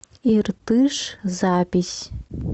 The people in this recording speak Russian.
иртыш запись